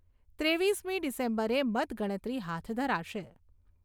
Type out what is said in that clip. ત્રેવીસમી ડિસેમ્બરે મતગણતરી હાથ ધરાશે.